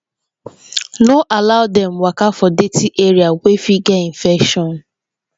no allow dem waka for dirty area wey fit get infection